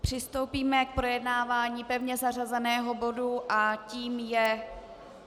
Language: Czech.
Přistoupíme k projednávání pevně zařazeného bodu a tím je